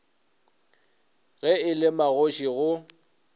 ge e le magoši go